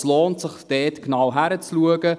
Es lohnt sich somit, hier genauer hinzuschauen.